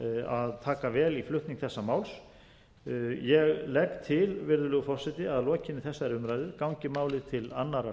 að taka vel í flutning þessa máls ég legg til virðulegur forseti að lokinni þessari umræðu gangi málið til annarrar umræðu en